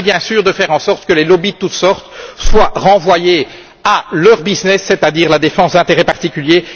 Il s'agit bien sûr de faire en sorte que les lobbys de toute sorte soient renvoyés à leur business c'est à dire la défense de leurs intérêts particuliers.